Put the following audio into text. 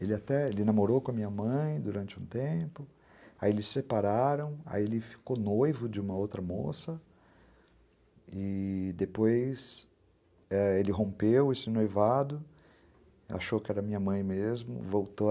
Ele até, ele namorou com a minha mãe durante um tempo, aí eles separaram, aí ele ficou noivo de uma outra moça, e depois, é, ele rompeu esse noivado, achou que era minha mãe mesmo, voltaram.